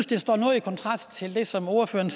det står noget i kontrast til det som ordføreren